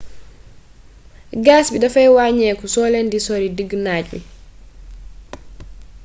gas bi dafay waññeeku soo leen di sori diggu naaj wi